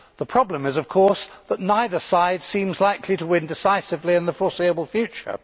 The problem is, of course, that neither side seems likely to win decisively in the foreseeable future.